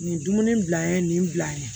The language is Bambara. Nin ye dumuni bila n ye nin bila an ye